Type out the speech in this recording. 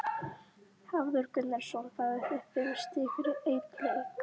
Hafþór Gunnarsson: Fáið þið fimm stig fyrir einn leik?